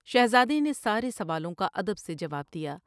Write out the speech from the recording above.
شہزادے نے سارے سوالوں کا ادب سے جواب دیا ۔